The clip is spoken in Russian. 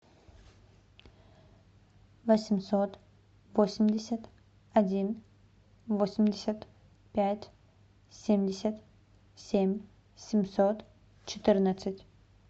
восемьсот восемьдесят один восемьдесят пять семьдесят семь семьсот четырнадцать